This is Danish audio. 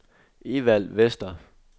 Evald Vester